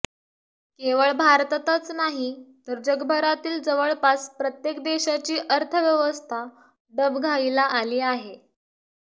केवळ भारतातच नाही तर जगभरातील जवळपास प्रत्येक देशाची अर्थव्यवस्था डबघाईला आली आहे